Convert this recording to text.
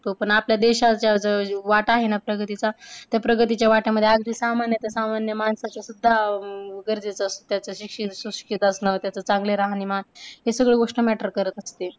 पण आपल्या देशाचा जो वाट आहे ना प्रगतीचा त्या प्रगतीच्या वाट्यामध्ये अगदी सामान्य ते सामान्य माणसाच सुद्धा गरजेचं असते. त्याचं शिक्षित सुशिक्षित असण त्याचं चांगलं राहणीमान हे सगळं गोष्ट matter करत असते.